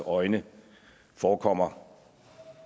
øjne forekommer